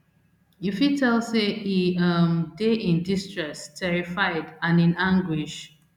you fit tell say e um dey in distress terrified and in anguish